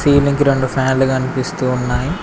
ఈలింగ్ కి రెండు ఫ్యాన్లు కనిపిస్తూ ఉన్నాయి.